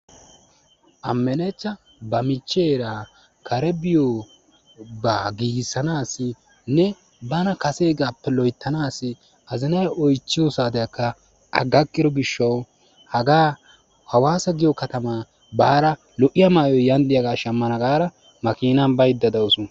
Ammenechcha ba michcheera kare biyoobaa gigissanasinne bana kasegaappe loyttaanasi azinay oychiyoo saatiyaakka a gakkido giishshawu hagaa hawaasa giyoo katamaa baada lo"iyaa maayoy yan diyaaga shaammana gaada maakinaan baydda dawus.